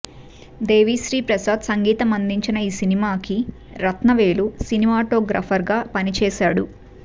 దేవీశ్రీ ప్రసాద్ సంగీతం అందించిన ఈ సినిమాకి రత్నవేలు సినిమాటోగ్రాఫర్ గా పనిచేసాడు